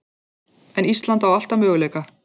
En Ísland á alltaf möguleika